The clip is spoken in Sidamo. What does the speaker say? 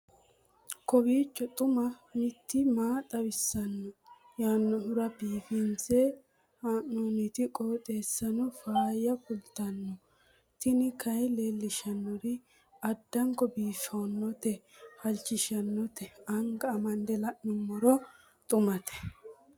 kowiicho xuma mtini maa xawissanno yaannohura biifinse haa'noonniti qooxeessano faayya kultanno tini kayi leellishshannori addanko biiffannote halchishshannote anga amande la'noommero xumate